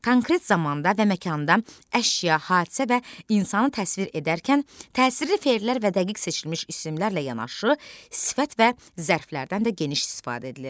Konkret zamanda və məkanda əşya, hadisə və insanı təsvir edərkən təsirli fe'llər və dəqiq seçilmiş isimlərlə yanaşı, sifət və zərflərdən də geniş istifadə edilir.